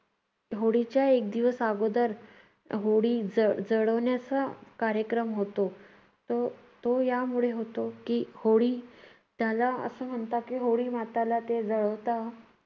होळीच्या एक दिवस आगोदर होळी ज जळवण्याचा कार्यक्रम होतो तो तो यामुळे होतो की होळी, त्याला असं म्हणतात की होळी माताला ते जळवता.